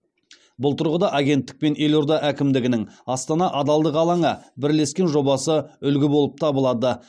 бұл тұрғыда агенттік пен елорда әкімдігінің астана адалдық алаңы бірлескен жобасы үлгі болып табылады